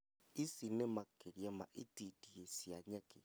Ici nĩ makĩria ma itindiĩ cia nyeki